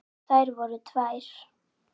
Þær voru tvær.